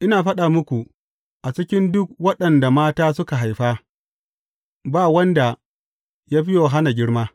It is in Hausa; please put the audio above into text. Ina faɗa muku, a cikin duk waɗanda mata suka haifa, ba wanda ya fi Yohanna girma.